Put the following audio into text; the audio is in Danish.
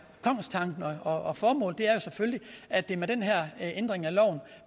kongstanken og og formålet er jo selvfølgelig at det med den her ændring af loven